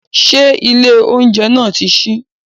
Ṣé ilé oúnjẹ náà náà ti ṣí?